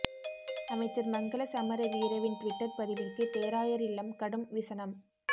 அமைச்சர் மங்கள சமரவீரவின் டுவிட்டர் பதிவிற்கு பேராயர் இல்லம் கடும் விசனம்